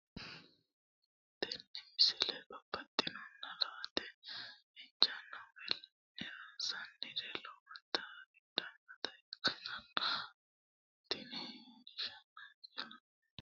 tenne misile baxisannonna la"ate injiitanno woy la'ne ronsannire lowote afidhinota ikkitanna tini leellishshannonkeri la'nummoha ikkiro tini misile baxissanno murooti woy caa'linanni haqqichooti.